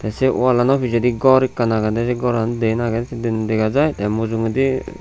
sei walanot pijedi gor ekkan agedey sei goran diyen agey se diyen dega jai tey mujungodi.